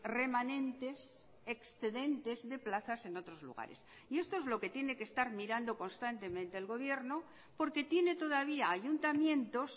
remanentes excedentes de plazas en otros lugares y esto es lo que tiene que estar mirando constantemente el gobierno porque tiene todavía ayuntamientos